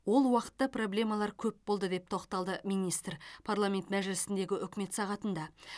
ол уақытта проблемалар көп болды деп тоқталды министр парламент мәжілісіндегі үкімет сағатында